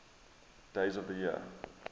days of the year